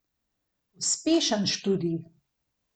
Naj navedem le eno, ki je bistvena.